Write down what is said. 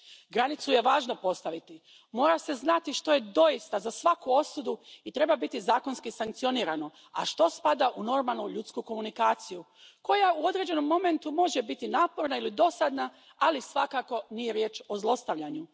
Granicu je važno postaviti, mora se znati što je doista za svaku osudu i treba biti zakonski sankcionirano, a što spada u normalnu ljudsku komunikaciju koja u određenom momentu može biti naporna ili dosadna, ali svakako, nije riječ o zlostavljanju.